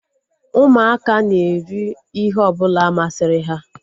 Ụmụaka na-eri ihe ọbụla masịrị ha